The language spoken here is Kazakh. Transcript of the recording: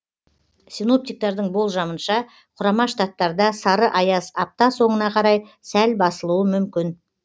синоптиктердің болжамынша құрама штаттарда сары аяз апта соңына қарай сәл басылуы мүмкін